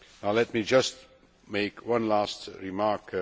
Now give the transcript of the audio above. Let me just make one last remark.